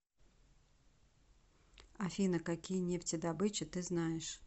афина какие нефтедобыча ты знаешь